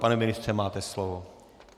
Pane ministře, máte slovo.